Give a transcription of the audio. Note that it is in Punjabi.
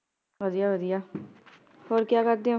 ਵਧੀਆ ਵਧੀਆ, ਹੋਰ ਕਯਾ ਕਰਦੇ ਊ?